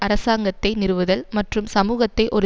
அரசாங்கத்தை நிறுவுதல் மற்றும் சமூகத்தை ஒரு